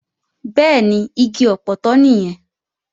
Bẹ́ẹ̀ni, igi ọpọtọ nìyẹn